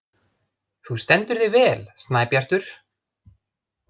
Þú stendur þig vel, Snæbjartur!